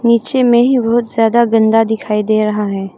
नीचे में ही बहुत ज्यादा गंदा दिखाई दे रहा है।